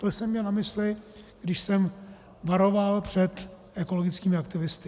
To jsem měl na mysli, když jsem varoval před ekologickými aktivisty.